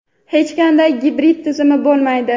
Hech qanday gibrid tizim bo‘lmaydi.